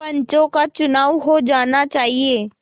पंचों का चुनाव हो जाना चाहिए